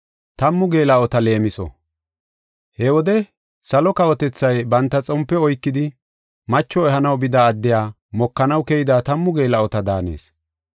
“He wode salo kawotethay banta xompe oykidi, macho ehanaw bida addiya mokanaw keyida tammu geela7ota daanees.